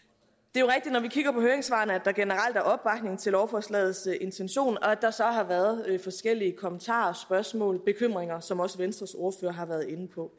er vi kigger på høringssvarene at der generelt er opbakning til lovforslagets intention og at der så har været forskellige kommentarer og spørgsmål bekymringer som også venstres ordfører har været inde på